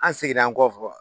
An seginna an kɔfɛ